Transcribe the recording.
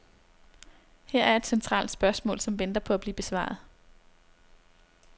Her er et centralt spørgsmål, som venter på at blive besvaret.